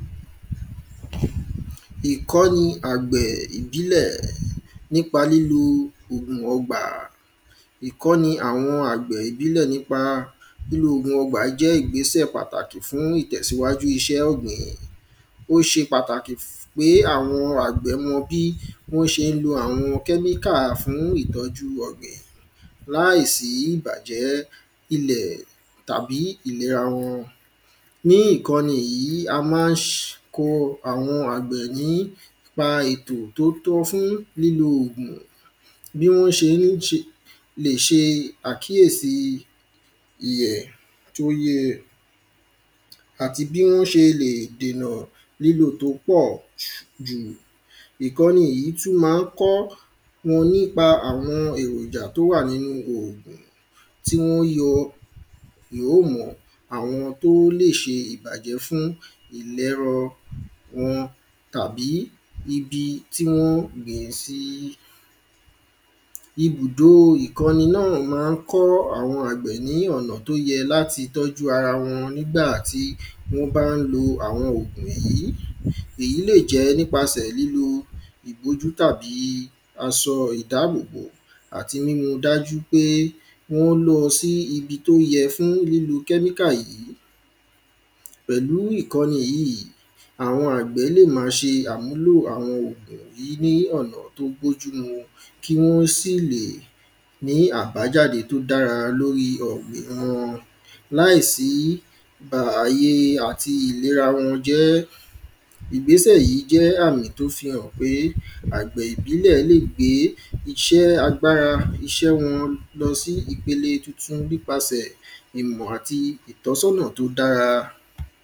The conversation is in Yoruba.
Ìkọ́ni àgbẹ̀ ìbílẹ̀ nípa lílo ògùn ọgbà Ìkọ́ni àwọn àgbẹ̀ ìbílẹ̀ nípa lílo ogun ọgbà jẹ́ ìgbésẹ̀ pàtàkì fún ìtẹ̀síwájú iṣẹ́ ọ̀gbìn ó ṣe pàtàkì pé àwọn àgbẹ̀ mọ bí wọ́n ṣe ń lo àwọn kẹ́míkà fún ìtọjú ọ̀gbìn láìsí ìbàjẹ́ ilẹ̀ tàbí ìlera wọn ní ìkọ́ní yìí a má ń ko àwọn àgbẹ̀ nípa ètò tó tọ́ fún lílo ògùn bí wọ́n ṣé ń ṣe lè ṣe àkíèsí ìyẹ̀ tó yẹ àti bí wọ́n ṣé ń ṣe lè dènà lílo tó pọ̀ jù ìkọ́ni jìí tú ma ń kọ́ wọn nípa àwọn èròjà tó wà nínú hò tí wọ́n ó yọ ìhómùọ̀ àwọn tó lè ṣe ìbàjẹ́ fún ìlẹ́rọ wọn tàbí ibi tí wọ́n ó gbìn sí ibùdo ìkọni náà ma ń kọ́ àwọn àgbẹ̀ ní ọ̀nà tó yẹ láti tọ́jú ara wọn nígbà tí àwọn ògùn yìí èyí lè jẹ́ nípàsẹ̀ lílo ìbójútó àbí asọ ìdábòbò àti nínu dájú pé wọ́n lọ sí ibi tó yẹ fún lílo kẹ́míkà yìí pẹ̀lú ìkọ́ni yìí àwọn àgbẹ̀ lè ma ṣe àmúlò àwọn ògùn yí ní ọ̀nà tó bójú mu kí wọ́n sì lè ní àbájáde tó dára lóri ọ̀gbìn wọn láìsí bà àye àti ìlera wọn jẹ́ ìgbésẹ́ jẹ́ àmì tó fi hàn pé àgbẹ̀ ìbílẹ̀ lè gbé iṣé agbárá iṣé wọn lọ sí ìpele tuntun nípasẹ̀ ìmọ̀ àti ìtọ́sọ́nà tó dára